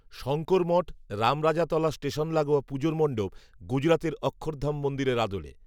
Shankar Math, Ramrajatala station লাগোয়া পুজোর মণ্ডপ, গুজরাতের অক্ষরধাম মন্দিরের আদলে